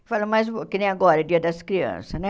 Eu falo, mas que nem agora, Dia das Crianças, né?